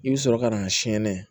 I bɛ sɔrɔ ka na sɛnɛnɛ